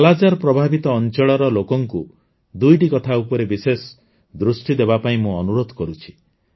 କାଲାଜାର ପ୍ରଭାବିତ ଅଞ୍ଚଳର ଲୋକଙ୍କୁ ୨ଟି କଥା ଉପରେ ବିଶେଷ ଦୃଷ୍ଟି ଦେବାପାଇଁ ମୁଁ ଅନୁରୋଧ କରୁଛି